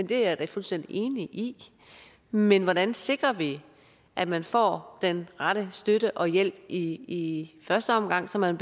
det er jeg da fuldstændig enig i men hvordan sikrer vi at man får den rette støtte og hjælp i første omgang som man